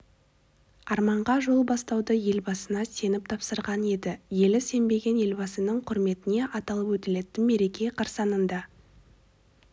арманға жол бастауды елбасына сеніп тапсырған еді елі сенген елбасының құрметіне аталып өтілетін мереке қарсаңында